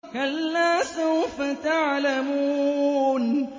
كَلَّا سَوْفَ تَعْلَمُونَ